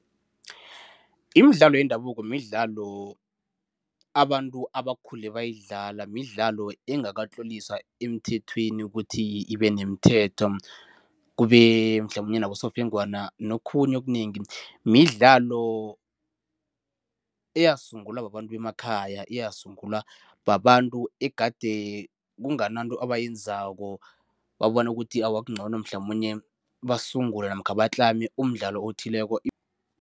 Imidlalo yendabuko midlalo abantu abakhule bayidlala, midlalo engakatloliswa emthethweni ukuthi ibenemithetho, kube mhlamunye nabosofengwana nokhunye okunengi. Midlalo eyasungulwa babantu bemakhaya, yasungulwa babantu egade kungananto ebayenzako, babona ukuthi awa kungcono mhlamunye basungule namkha batlame umdlalo othileko